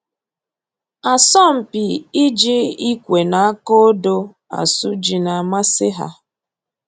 Asọmpi iji ikwe na aka odo asụ ji na-amasị ha